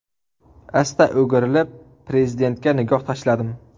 Asta o‘girilib Prezidentga nigoh tashladim.